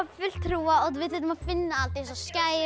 hrúga og við þurftum að finna allt eins og skærin